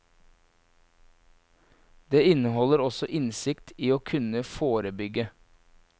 Den inneholder også innsikt i å kunne forebygge.